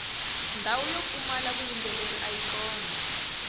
ndhawu yo pfumala vuyimbeleri ayi kona